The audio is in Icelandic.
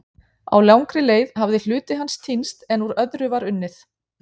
á langri leið hafði hluti hans týnst en úr öðru var unnið